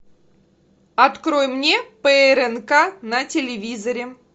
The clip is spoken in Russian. открой мне прнк на телевизоре